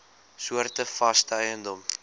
soorte vaste eiendom